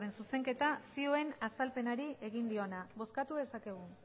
zuzenketa zioen azalpenari egin diona bozkatu dezakegu